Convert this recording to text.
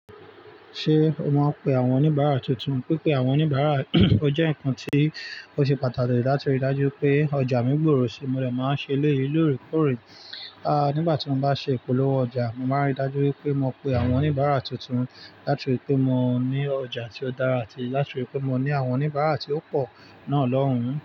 Ṣé o máa ń pe àwọn oníbàárà tuntun? Pípé àwọn oníbàárà ó jẹ́ nǹkan tí ó ṣe pàtàkì láti rí dájú pé ọjà mí gbòòrò sí i mo dé máa ń ṣeléyìí lóòrèkóòrè. À nígbà tí mo bá ṣe ìpolówó ọjà, mo màá ń rí dájú wípé mo pe àwọn oníbàárà tuntun láti rí pé mo ní ọjà tí ó dára àti láti rí pé mo ní àwọn oníbàárà tí ó pọ̀ náà lọ́hùn-ún.